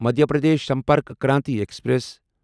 Madhya Pradesh Sampark Kranti express